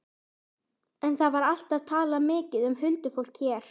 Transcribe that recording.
En það var alltaf talað mikið um huldufólk hér.